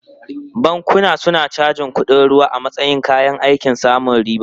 Bankuna suna cajin kuɗin ruwa a matsayin kayan aikin samun riba.